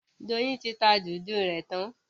Doyin ti tá Dùndú rẹ tàn.